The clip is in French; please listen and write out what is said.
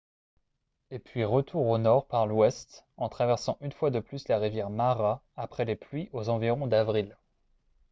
et puis retour au nord par l'ouest en traversant une fois de plus la rivière mara après les pluies aux environs d'avril